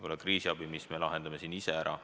Selle viimase me küll ehk lahendame siin ise ära.